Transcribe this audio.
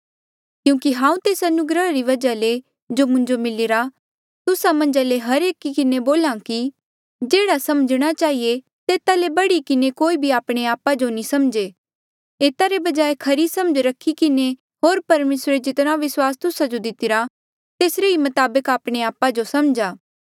क्यूंकि हांऊँ तेस अनुग्रहा री वजहा ले जो मुंजो मिलीरा तुस्सा मन्झा ले हर एकी किन्हें बोल्हा कि जेह्ड़ा समझणा चहिए तेता ले बढ़ी किन्हें कोई भी आपणे आपा जो नी समझे एता रे बजाय खरी समझ रखी किन्हें होर परमेसरे जितना विस्वास तुस्सा जो दितिरा तेसरे ही मताबक आपणे आपा जो समझा